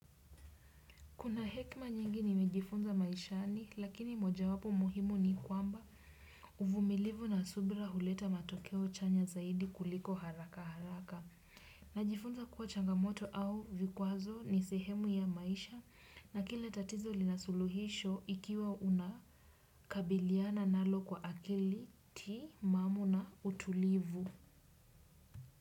Kuna hekima nyingi nimejifunza maishani lakini moja wapo muhimu ni kwamba uvumilivu na subra huleta matokeo chanya zaidi kuliko haraka haraka. Najifunza kuwa changamoto au vikwazo ni sehemu ya maisha na kila tatizo lina suluhisho ikiwa unakabiliana nalo kwa akili timamu na utulivu.